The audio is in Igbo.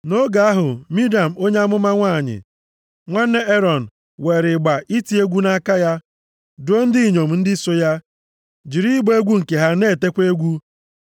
Nʼoge ahụ, Miriam onye amụma nwanyị, nwanne Erọn weere ịgba iti egwu nʼaka ya, duo ndị inyom ndị so ya, jiri ịgba egwu nke ha na-etekwa egwu.